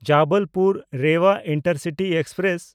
Jabalpur-Rewa intercity express